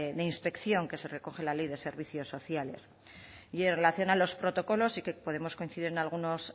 de inspección que se recoge en la ley de servicios sociales y en relación a los protocolos sí que podemos coincidir en algunos